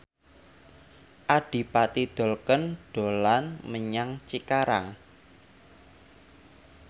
Adipati Dolken dolan menyang Cikarang